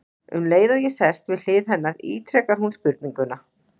Um leið og ég sest við hlið hennar ítrekar hún spurninguna.